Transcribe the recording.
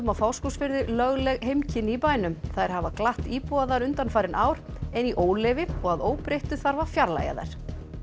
á Fáskrúðsfirði lögleg heimkynni í bænum þær hafa glatt íbúa þar undanfarin ár en í óleyfi og að óbreyttu þarf að fjarlægja þær